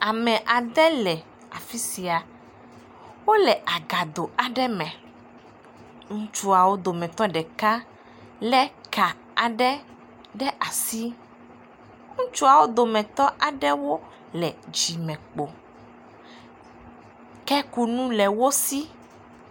Ame ade le afi sia. Wole akado aɖe me. Ŋutsuawo dometɔ ɖeka le ka aɖe ɖe asi. Ŋutsuawo dometɔ aɖewo le dzime kpo. Kekunu le wo si.